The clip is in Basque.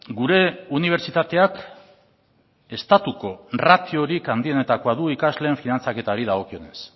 gure unibertsitateak estatuko ratiorik handienetakoa du ikasleen finantzaketari dagokionez